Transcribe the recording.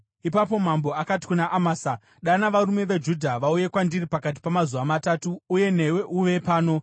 Ipapo mambo akati kuna Amasa, “Dana varume veJudha vauye kwandiri pakati pamazuva matatu, uye newe uve pano.”